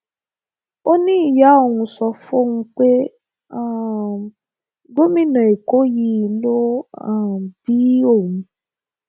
ó ní ìyá òun sọ fóun pé um gómìnà èkó yìí ló um bí òun